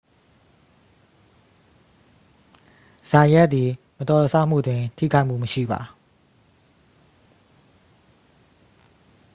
ဇိုင်ယတ်သည် မတော်တဆမှုတွင် ထိခိုက်မှုမရှိပါ